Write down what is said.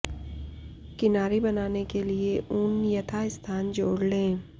किनारी बनाने के लिए ऊन यथास्थान जोड़ लें